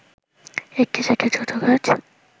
একটি সেটের দ্রুত কাজ